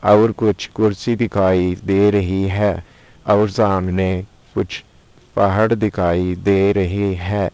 और कुछ कुर्सी दिखाई दे रही है और सामने कुछ पहाड़ दिखाई दे रही है।